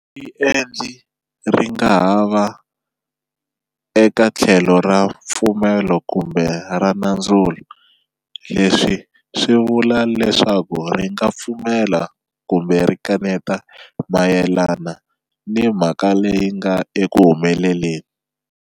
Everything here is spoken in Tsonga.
Riendli ri nga ha va eka tlhelo ra mpfumelo kumbe ra nandzulo, leswi swi vula leswaku ri nga pfumela kumbe ri kaneta mayelana ni mhaka leyi nga eku humeleleni.